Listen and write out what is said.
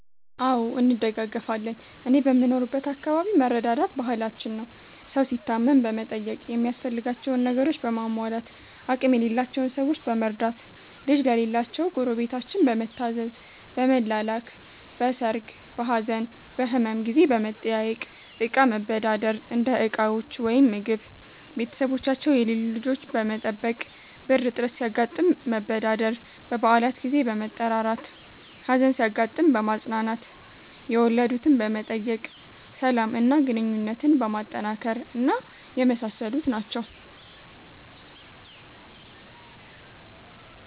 አዎ እንደጋገፋለን እኔ በምኖርበት አከባቢ መረዳዳት ባህላችን ነው። ሠው ሲታመም በመጠየቅ ሚያስፈልጋቸውን ነገሮችን በማሟላት፣ አቅም የሌላቸውን ሠዎች በመርዳት፣ ልጅ ለሌላቸው ጎረቤታችን በመታዘዝ፣ በመላላክ፣ በሠርግ፣ በሀዘን፣ በህመም ጊዜ በመጠያየቅ፣ እቃ መበዳደር (እንደ ዕቃዎች ወይም ምግብ)፣ቤተሠቦቻቸው የሌሉ ልጆች በመጠበቅ፣ ብር እጥረት ሲያጋጥም መበዳደር፣ በበአላት ጊዜ በመጠራራት፣ ሀዘን ሲያጋጥም በማፅናናት፣ የወለድትን በመጠየቅ፣ ሠላም እና ግንኙነትን በማጠናከር እና የመሣሠሉት ናቸው።